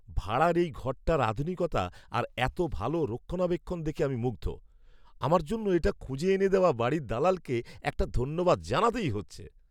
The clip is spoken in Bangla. ভাড়ার এই ঘরটার আধুনিকতা আর এত ভালো রক্ষণাবেক্ষণ দেখে আমি মুগ্ধ! আমার জন্য এটা খুঁজে এনে দেওয়া বাড়ির দালালকে একটা ধন্যবাদ জানাতেই হচ্ছে।